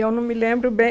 Eu não me lembro bem.